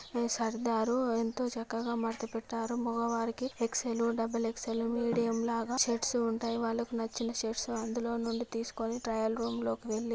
సర్దారు ఎంతో చక్కగా మడత పెట్టారు. మగవారికి ఎక్స్_ఎల్ డబల్ ఎక్స్_లు మీడియం లాగా షర్ట్స్ ఉంటాయి. వాళ్లకు నచ్చిన షర్ట్స్ అందులోనుండి తీసుకుని ట్రయిల్ రూమ్ లోకి వెళ్లి--